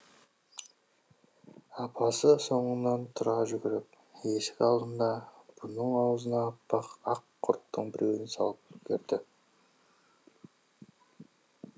апасы соңынан тұра жүгіріп есік алдында бұның аузына аппақ ақ құрттың біреуін салып үлгерді